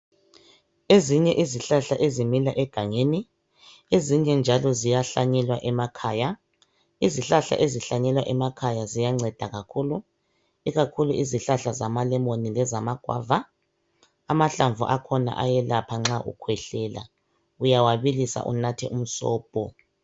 Ezinye izihlahla zimila egangeni, ezinye njalo ziyahlanyelwa emakhaya. Izihlahla ezihlanyelwa emakhaya ziyanceda kakhulu, ikakhulu izihlahla zamalemoni lezama guava. Amahalamvu akhona ayelapha nxa ukhwehlela. Uyawabilisa unathe umsobho.